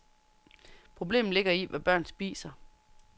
Problemet ligger i, hvad børn spiser.